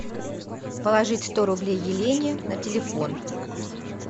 положить сто рублей елене на телефон